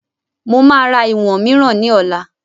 Mo máa ra ìwọ̀n mìíràn ni ọ̀la